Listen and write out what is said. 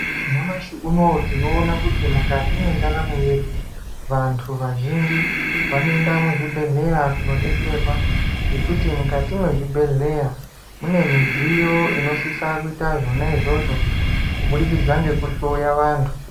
Nyamashi uno uyu tinoona kuti mundaramo yedu vantu vazhinji vanoenda muzvibhedhlera kunodetserwa nekuti mukati mezvibhedhlera mune midziyo inosise kuita zvona izvozvo kubudikidza ngekuhloya vantu